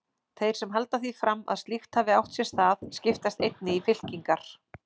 Þeir sem halda því fram að slíkt hafi átt sér stað, skiptast einnig í fylkingar.